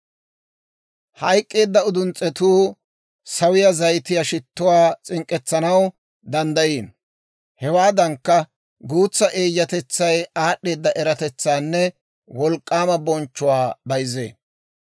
Hayk'k'eedda uduns's'etuu sawiyaa zayitiyaa shittuwaa s'ink'k'etsanaw danddayiino; hewaadankka, guutsa eeyyatetsay aad'd'eeda eratetsaanne wolk'k'aama bonchchuwaa bayzzee.